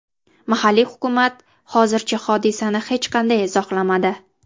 Mahalliy hukumat hozircha hodisani hech qanday izohlamadi.